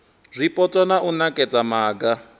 zwipotso na u nekedza maga